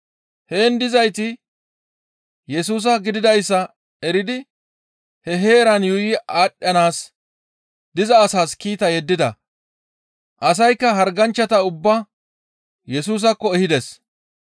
Heen dizayti Yesusa gididayssa eridi, he heeran yuuyi aadhdhanaas diza asaas kiita yeddida. Asaykka harganchchata ubbaa Yesusaakko ehides.